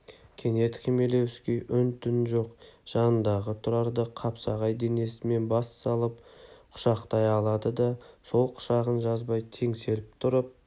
кенет хмелевский үн-түн жоқ жанындағы тұрарды қапсағай денесімен бас салып құшақтай алды да сол құшағын жазбай теңселіп тұрып